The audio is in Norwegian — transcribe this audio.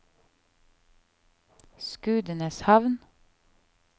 Skudeneshavn